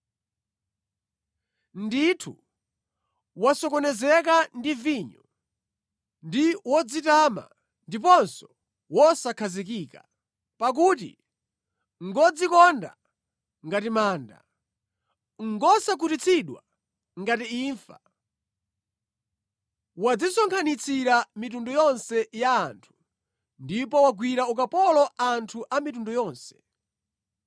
Ndithu, wasokonezeka ndi vinyo; ndi wodzitama ndiponso wosakhazikika. Pakuti ngodzikonda ngati manda, ngosakhutitsidwa ngati imfa, wadzisonkhanitsira mitundu yonse ya anthu ndipo wagwira ukapolo anthu a mitundu yonse.